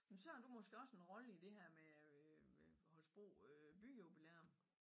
Jamen så har du måske også en rolle i det her med øh øh Holstebro øh byjubilæum?